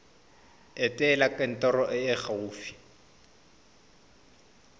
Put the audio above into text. etela kantoro e e gaufi